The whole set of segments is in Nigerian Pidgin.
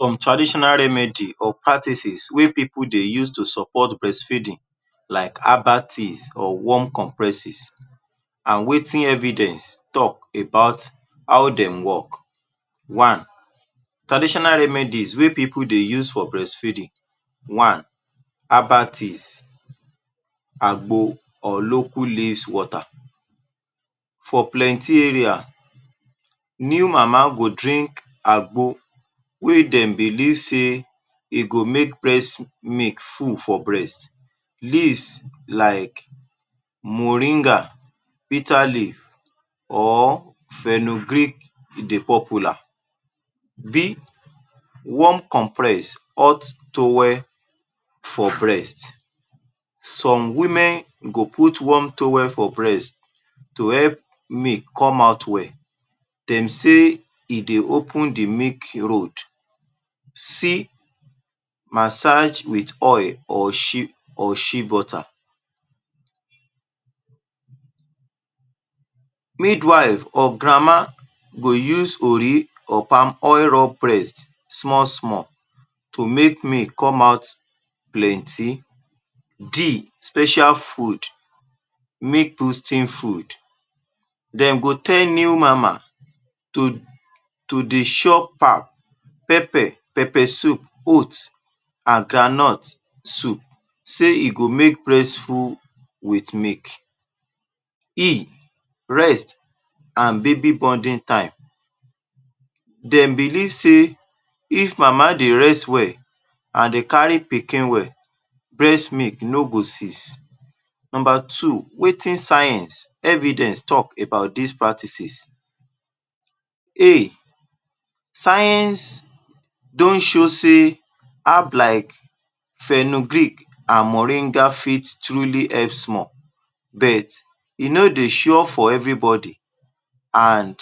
Some traditional remedy and practices wey pipul dey use support breast feeding like abates or warm compresses and wetin evidence talk about how dem work: One: abates Agbo or loko leafs water, for plenty area new mama go drink agbo wey dem belief sey e go make breast milk full for breast. Leaves like moringa, bitter leaf or fenogric de popular. B: warm compress, hot towel for breast [Some Women] go put warm towel for breast to help milk come out well. Dem sey e dey open the milk road. C: massage with oil or shebutter. Midwifes or grandma go use ori or palm oil rub breast small-small to make milk come out plenty. D: special food, milk toasting food. Dem go tell mama to dey chop am pepe, pepe soup, oath and groundnut soup, sey e go make breast full with milk. E: breast and baby bonding time, dem belief sey if mama dey rest well and dey kari pikin well, breast milk no go seize. Number two: wetin science [evidence] talk, about this practices. Science don show sey herb like fenogric and moringa truly help small but e no dey shore for every body and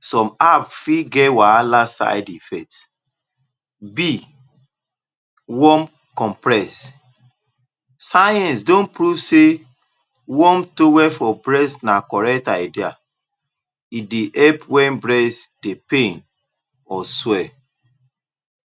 some app fit get wahala side effect. Warm compress: science don prove sey warm towel for breast na correct idea, e dey help wen breast dey pain or swel.